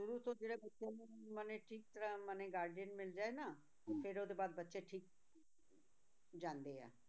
ਮਨੇ ਠੀਕ ਤਰ੍ਹਾਂ ਮਨੇ guardian ਮਿਲ ਜਾਏ ਨਾ ਫਿਰ ਉਹਦੇ ਬਾਅਦ ਬੱਚੇ ਠੀਕ ਜਾਂਦੇ ਹੈ